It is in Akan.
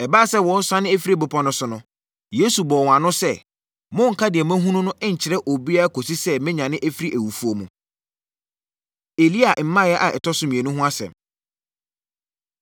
Ɛbaa sɛ wɔresiane afiri bepɔ no so no, Yesu bɔɔ wɔn ano sɛ, “Monnka deɛ moahunu no nkyerɛ obiara kɔsi sɛ mɛnyane afiri awufoɔ mu.” Elia Mmaeɛ A Ɛtɔ So Mmienu Ho Asɛm